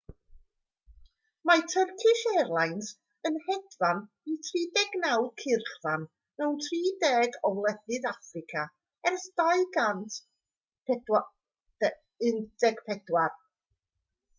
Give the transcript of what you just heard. mae turkish airlines yn hedfan i 39 cyrchfan mewn 30 o wledydd affrica ers 2014